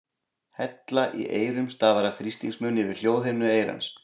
Hella í eyrum stafar af þrýstingsmun yfir hljóðhimnu eyrans.